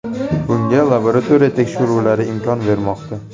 Bunga laboratoriya tekshiruvlari imkon bermoqda.